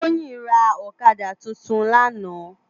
Toyin rá òkàdá tútún làná